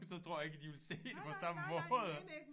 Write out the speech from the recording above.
Så tror jeg ikke at de ville se det på samme måde